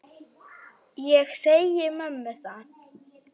Ég segi mömmu það.